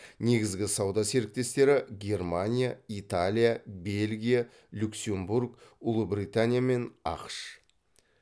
негізгі сауда серіктестері германия италия бельгия люксембург ұлыбритания мен ақш